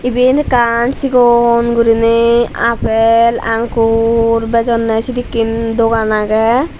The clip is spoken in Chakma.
iben ekkan chigon goriney apel angkur bejonney sedekken dogan agey.